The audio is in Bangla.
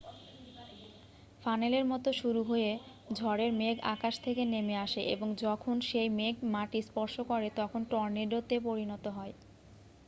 "ফানেলের মতো শুরু হয়ে ঝড়ের মেঘ আকাশ থেকে নেমে আসে এবং যখন সেই মেঘ মাটি স্পর্শ করে তখন "টর্নেডো" -তে পরিণত হয়।